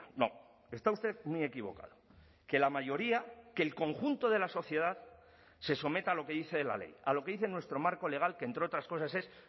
no está usted muy equivocado que la mayoría que el conjunto de la sociedad se someta a lo que dice la ley a lo que dice nuestro marco legal que entre otras cosas es